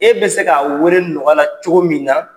E bɛ se k'a wele nɔgɔya la cogo min na.